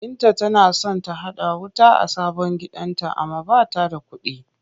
Binta tana son ta haɗa wuta a sabon gidanta amma ba ta da kuɗi.